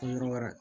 Yɔrɔ wɛrɛ